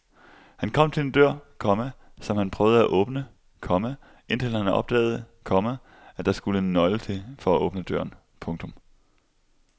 Han kom til en dør, komma som han prøvede at åbne, komma indtil han opdagede, komma at der skulle en nøgle til for at åbne døren. punktum